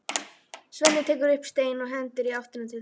Svenni tekur upp stein og hendir í áttina til þeirra.